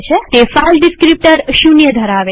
તે file descriptor ૦ ધરાવે છે